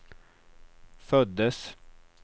föddes